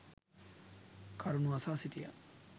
කරුණු අසා සිටියා.